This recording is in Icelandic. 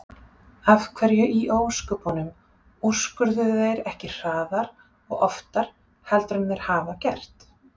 Af hverju í ósköpunum úrskurðuðu þeir ekki hraðar og oftar heldur en þeir hafa gert?